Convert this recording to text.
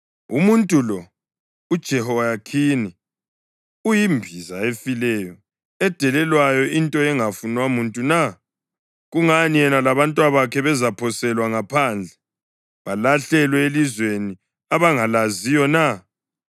Umuntu lo, uJehoyakhini, uyimbiza efileyo, edelelwayo, into engafunwa muntu na? Kungani yena labantwabakhe bezaphoselwa ngaphandle, balahlelwe elizweni abangalaziyo na?